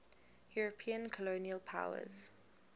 european colonial powers